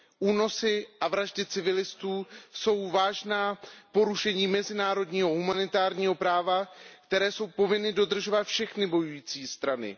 Únosy a vraždy civilistů jsou vážná porušení mezinárodního humanitárního práva, které jsou povinny dodržovat všechny bojující strany.